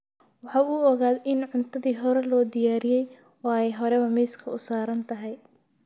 Waxa uu ogaaday in cuntadii hore loo diyaariyey oo ay horeba miiska u saaran tahay